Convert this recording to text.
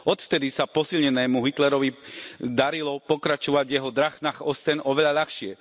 Odvtedy sa posilnenému Hitlerovi darilo pokračovať v jeho Drang nach Osten oveľa ľahšie.